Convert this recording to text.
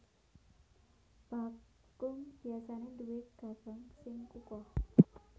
Bakung biasané duwé gagang sing kukoh